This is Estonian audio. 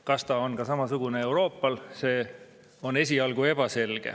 Kas ta on samasugune ka Euroopal, see on esialgu ebaselge.